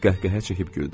o qəhqəhə çəkib güldü.